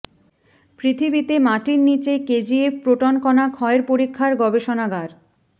পৃথিবীতে মাটির নীচে কেজিএফ প্রোটন কণা ক্ষয়ের পরীক্ষার গবেষণাগার